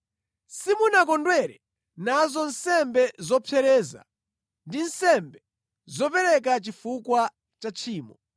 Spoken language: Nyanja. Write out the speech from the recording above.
Simunakondwere nazo nsembe zopsereza ndi nsembe zopereka chifukwa cha tchimo.